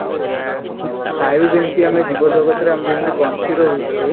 ବାୟୁ ଯେମିତି ଆମେ ଜୀବ ଜଗତ ରେ ବଞ୍ଚି ରହୁଛୁ